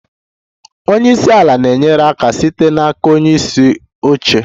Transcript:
Onye isi ala na-enyere aka site n'aka onye isi oche.